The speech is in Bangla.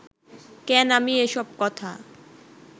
কেন আমি এসব কথা